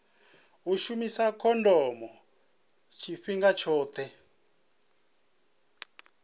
u shumisa khondomo tshifhinga tshoṱhe